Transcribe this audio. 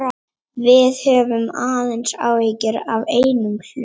Við höfum aðeins áhyggjur af einum hlut.